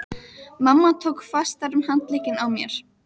Mamma tók fastar um handlegginn á mér.